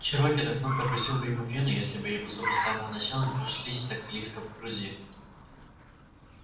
чероки давно прокусил бы ему вену если бы его зубы с самого начала не пришлись так близко к груди